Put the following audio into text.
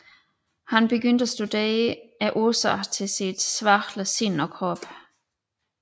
Han begyndte at studere årsagen til sit svagelige sind og krop